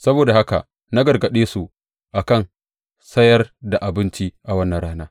Saboda haka na gargaɗe su a kan sayar da abinci a wannan rana.